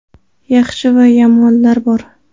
Yaxshi va yomonlar bor.